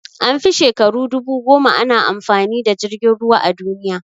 An fi shekaru dubu goma ana amfani da jirgin ruwa a duniya